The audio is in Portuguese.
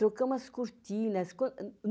Trocamos as cortinas.